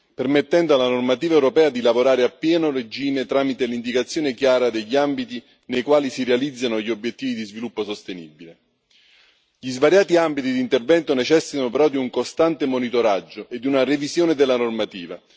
permettendo alla normativa europea di lavorare a pieno regime tramite l'indicazione chiara degli ambiti nei quali si realizzano gli obiettivi di sviluppo sostenibile. Gli svariati ambiti di intervento necessitano però di un costante monitoraggio e di una revisione della normativa.